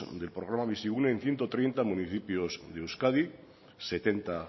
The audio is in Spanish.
del programa bizigune en ciento treinta municipios de euskadi setenta